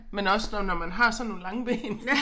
Men også nu når man har sådan nogle lange ben